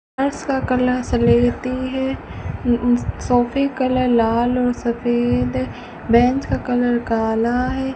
फर्श का कलर स्लेटी है अं सोफे कलर लाल और सफेद है बेंच का कलर काला है।